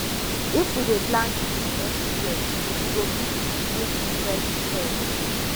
if we dey plant trees everywhere we go fit breathe fresh air